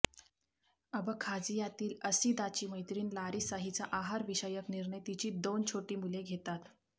अबखाझियातील असीदाची मैत्रीण लारिसा हिचा आहारविषयक निर्णय तिची दोन छोटी मुले घेतात